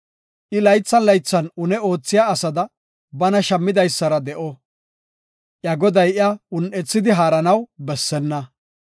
I laythan laythan une oothiya asada bana shammidaysara de7o; iya goday iya un7ethidi haaranaw bessenna.